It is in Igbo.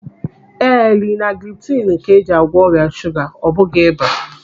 Ee, linaglipitinu ka eji agwọ ọrịa shuga, ọ bụghị ịba.